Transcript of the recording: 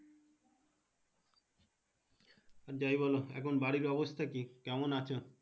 যাই বলো এখন বাড়ি অবস্থা কি কেমন আছো।